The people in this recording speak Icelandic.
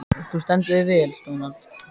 Þú stendur þig vel, Dónald!